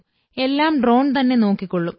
എല്ലാം ഡ്രോൺ തന്നെ നോക്കിക്കൊള്ളും